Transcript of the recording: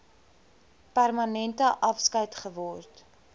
permanente afskeid geword